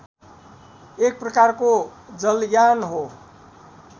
एक प्रकारको जलयान हो